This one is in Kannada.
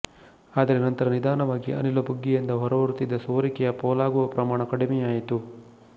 ಆದರೆ ನಂತರ ನಿಧಾನವಾಗಿ ಅನಿಲ ಬುಗ್ಗೆಯಿಂದ ಹೊರಬರುತ್ತಿದ್ದ ಸೋರಿಕೆಯ ಪೋಲಾಗುವ ಪ್ರಮಾಣ ಕಡಿಮೆಯಾಯಿತು